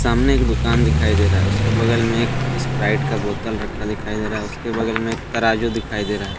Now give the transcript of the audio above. सामने एक दुकान दिखाई दे रहा है उसके बगल में एक इस्प्राइट का बोतल रखा दिखाई दे रहा है उसके बगल में एक तराजू दिखाई दे रहा है।